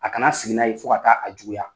A ka na sigi n'a yen fo ka taa a juguya.